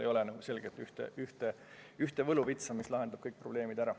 Ei ole ühte kindlat võluvitsa, mis lahendab kõik probleemid ära.